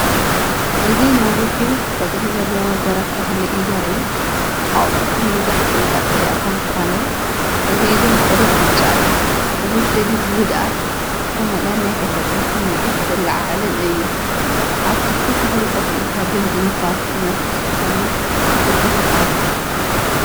እዚ ነዊሕን ቆጽሊ ዘለዎን ገረብ ተክሊ እዩ ዘርኢ። ኣቝጽልቱ መብዛሕትኡ ቀጠልያ እኳ እንተዀነ፡ ገሊኡ ግና ቍሩብ ብጫ እዩ። እዚ ስእሊ ብህድኣት ዝተመልአን ናይ ተፈጥሮ ስምዒት ዝለዓዓልን እዩ። ኣብ ትሕቲ ተክሊ ኮፍ ኢልካ ድምጺ ንፋስ ዝነፍስ ክትሰምዕ የዘኻኽረካ።